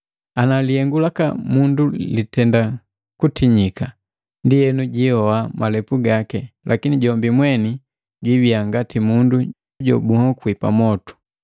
Ana lihengu laka mundu litenda kutiyika, ndienu jihoa malepu gaki, lakini jombi mweni jibiya ngati mundu jobunhokuliwi pamwotu.